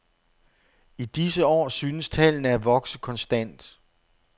I disse år synes tallene at vokse konstant.